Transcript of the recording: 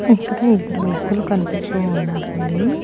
ఇక్కడ ఇద్దరు వ్యక్తులు కన్పిస్తూ ఉన్నారండి.